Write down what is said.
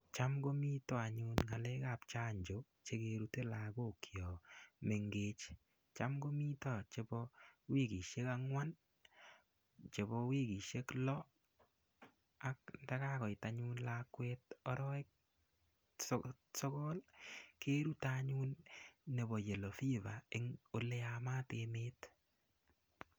Cham komiten anyun ngalekab chanjo chekerute lokok chon mengech, cham komiten chebo wikishek angwan chebo wikishek loo ak ndakakoit anyun lakwet arowek sokol kerute anyun nebo yellow fever oleyamat emet.